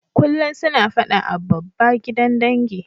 Kullum suna fada a babba gidan dangi.